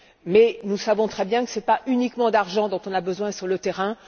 Mais nous savons très bien que ce n'est pas uniquement d'argent dont on a besoin sur le terrain.